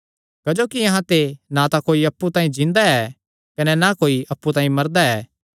क्जोकि अहां ते ना तां कोई अप्पु तांई जींदा ऐ कने ना कोई अप्पु तांई मरदा ऐ